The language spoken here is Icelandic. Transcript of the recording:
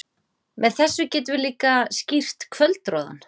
Með þessu getum við líka skýrt kvöldroðann.